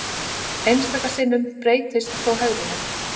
Einstaka sinnum breytist þó hegðunin.